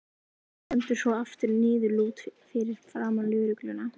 Stendur svo aftur niðurlút fyrir framan lögregluna.